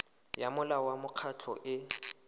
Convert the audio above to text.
ya molao wa mekgatlho e